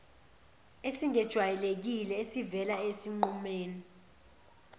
esingejwayelekile esivele esinqumeni